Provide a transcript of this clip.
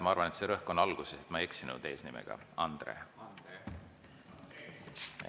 Ma arvan, et rõhk on alguses ja ma ei eksinud eesnimega Andre.